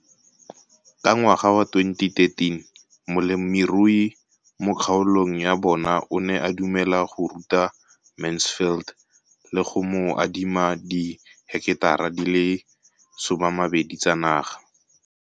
Ka ngwaga wa 2013, molemirui mo kgaolong ya bona o ne a dumela go ruta Mansfield le go mo adima di heketara di le 12 tsa naga.